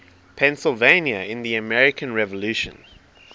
pennsylvania in the american revolution